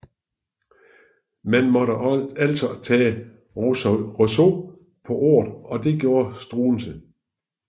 Man måtte altså tage Rousseau på ordet og det gjorde Struensee